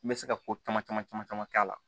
N bɛ se ka ko caman caman caman caman k'a la